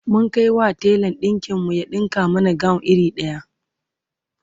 mun Kai wa telan ɗinkin mu ya ɗinka mana gawon iri daya